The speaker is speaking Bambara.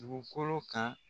Dugukolo kan.